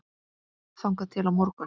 þangað til á morgun?